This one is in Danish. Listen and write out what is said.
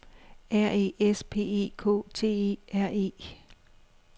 R E S P E K T E R E